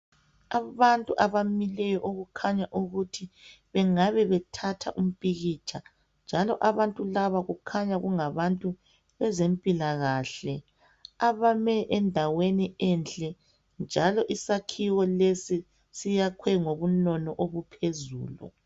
Abantu abamileyo okukhanya ukuthi bengabe bethatha umpikitsha njalo abantu laba kukhanya kunga bantu bezempila kahle abame endaweni enhle njalo isakhiwo lesi , siyakhwe ngobunono ukuphezulu.